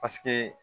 Paseke